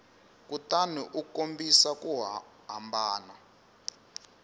kutani u kombisa ku hambana